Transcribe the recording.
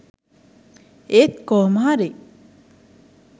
ඒත් කොහොමහරි